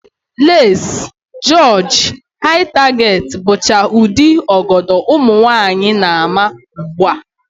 Leesi, jịọjị, Hai taget, bụcha ụdị ọgọdọ ụmụnwaanyị na-ama ugbu a